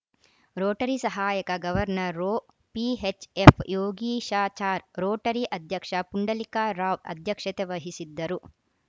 Rotary ಸಹಾಯಕ governor ರೋ PHF Yogeeshachar Rotary ಅಧ್ಯಕ್ಷ ಪುಂಡಲಿಕ ರಾವ್‌ ಅಧ್ಯಕ್ಷತೆ ವಹಿಸಿದ್ದರು